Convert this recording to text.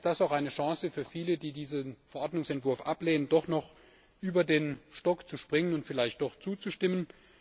Vielleicht ist das auch eine Chance für viele, die diesen Verordnungsentwurf ablehnen, doch noch über den Stock zu springen und vielleicht doch zuzustimmen.